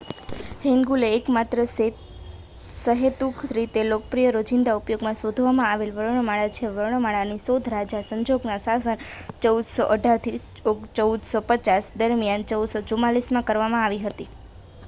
હેન્ગુલ એ એકમાત્ર સહેતુક રીતે લોકપ્રિય રોજીંદા ઉપયોગમાં શોધવામાં આવેલ વર્ણમાળા છે. વર્ણમાળાની શોધ રાજા સેજોંગનાં શાસન 1418 - 1450 દરમિયાન 1444માં કરવામાં આવી હતી